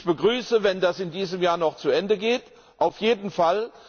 Ich begrüße es, wenn das in diesem Jahr noch zu Ende geht auf jeden Fall.